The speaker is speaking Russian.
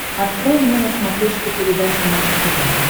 открой мне на смотрешке передачу наше тв